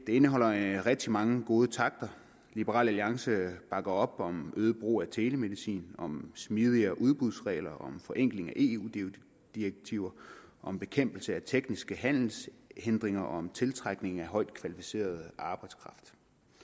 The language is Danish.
indeholder rigtig mange gode takter liberal alliance bakker op om øget brug af telemedicin om smidigere udbudsregler om forenkling af eu direktiver om bekæmpelse af tekniske handelshindringer og om tiltrækning af højtkvalificeret arbejdskraft